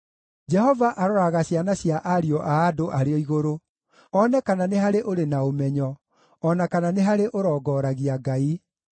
Jehova aroraga ciana cia ariũ a andũ arĩ o igũrũ, one kana nĩ harĩ ũrĩ na ũmenyo, o na kana nĩ harĩ ũrongoragia Ngai.